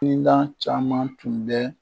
caman tun bɛ